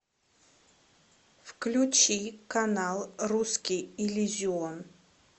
включи канал русский иллюзион